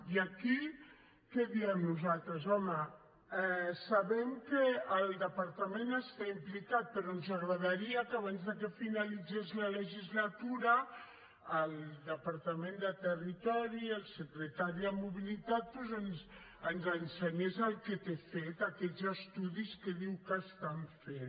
i aquí què diem nosaltres home sabem que el departament hi està implicat però ens agradaria que abans de que finalitzés la legislatura el departament de territori el secretari de mobilitat doncs ens ensenyés el que té fet aquests estudis que diu que estan fent